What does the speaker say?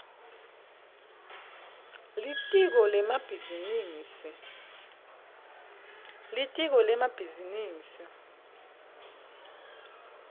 litiko lemabhizinisi